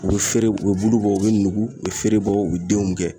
U be feere u be bulu bɔ u be nugu u be feere bɔ u be denw kɛ